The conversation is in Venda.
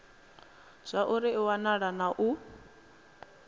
zwauri i wana na u